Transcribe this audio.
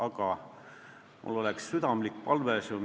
Aga mul on südamlik palve.